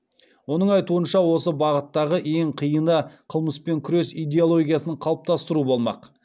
оның айтуынша осы бағыттағы ең қиыны қылмыспен күрес идеологиясын қалыптастыру болмақ